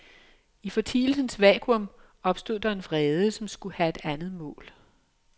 I fortielsens vakuum opstod der en vrede, som skulle have et andet mål.